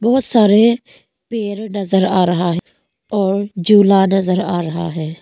बहोत सारे पेर नजर आ रहा और जुला नजर आ रहा है।